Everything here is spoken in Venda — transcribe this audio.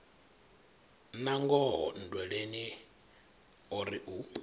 nangoho nndweleni o ri u